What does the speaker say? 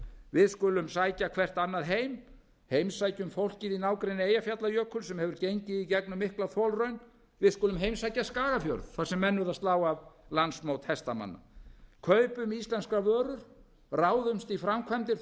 við skulum sækja hvert annað heim heimsækjum fólkið í nágrenni eyjafjallajökuls sem hefur gengið í gegnum mikla þolraun við skulum heimsækja skagafjörð þar sem menn urðu að slá af landsmót hestamanna kaupum íslenskar vörur ráðumst í framkvæmdir